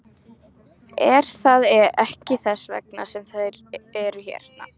Er það ekki þess vegna sem þeir eru hérna?